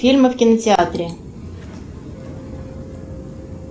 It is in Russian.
фильмы в кинотеатре